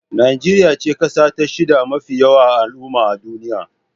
Najeriya ce kasa ta shida mafi yawan al'umma a duniya.